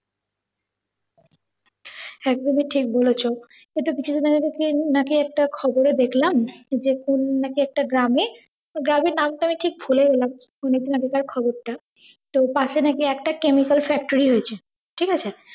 একদম ই ঠিক বলেছ। এই তো কিছুদিন আগে নাকি একটা খবরে দেখলাম যে কোন নাকি একটা গ্রামে, গ্রামের নামতা আমি ঠিক ভুলেও গেলাম খবর টা, তো পাসে দেখি একটা chemical factory হয়েছে ঠিকাছে